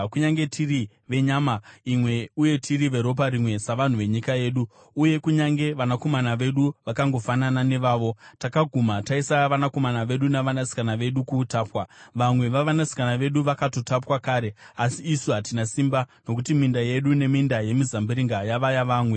Kunyange tiri venyama imwe uye tiri veropa rimwe savanhu venyika yedu, uye kunyange vanakomana vedu vakangofanana nevavo, takaguma taisa vanakomana vedu navanasikana vedu kuutapwa. Vamwe vavanasikana vedu vakatotapwa kare, asi isu hatina simba, nokuti minda yedu neminda yemizambiringa yava yavamwe.”